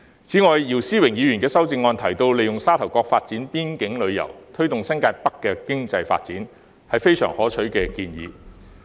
此外，姚思榮議員的修正案提到，利用沙頭角發展邊境旅遊，推動新界北的經濟發展，這是非常可取的建議。